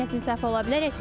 Hər kəsin səhvi ola bilər.